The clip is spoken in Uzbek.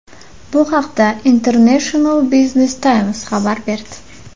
Bu haqda International Business Times xabar berdi .